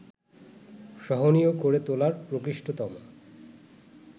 সহনীয় করে তোলার প্রকৃষ্টতম